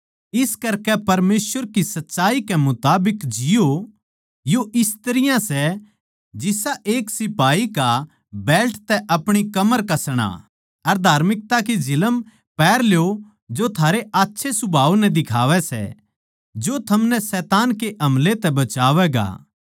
इस करके परमेसवर की सच्चाई के मुताबिक जिओ यो इस तरियां सै जिसा एक सिपाही का बेल्ट तै अपणी कमर कसणा अर धार्मिकता की झिलम पैहर ल्यो जो थारे आच्छे सुभाव नै दिखावै सै जो थमनै शैतान के हमलै तै बचावैगा